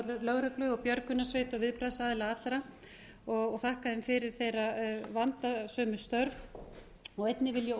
lögreglu björgunarsveita og viðbragðsaðila allra og þakka þeim fyrir þeirra vandasömu störf og einnig vil ég